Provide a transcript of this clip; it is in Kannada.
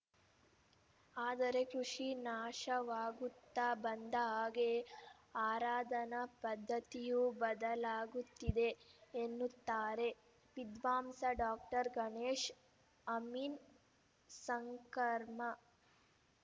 ಆದರೆ ಕೃಷಿ ನಾಶವಾಗುತ್ತಾ ಬಂದ ಹಾಗೆ ಆರಾಧನಾ ಪದ್ಧತಿಯೂ ಬದಲಾಗುತ್ತಿದೆ ಎನ್ನುತ್ತಾರೆ ವಿದ್ವಾಂಸ ಡಾಕ್ಟರ್ ಗಣೇಶ್‌ ಅಮೀನ್‌ ಸಂಕರ್ಮಾ